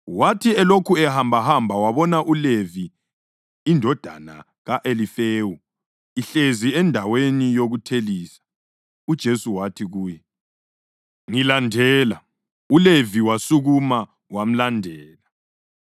Wathi elokhu ehambahamba wabona uLevi indodana ka-Alifewu ihlezi endaweni yokuthelisa. UJesu wathi kuye, “Ngilandela,” ULevi wasukuma wamlandela.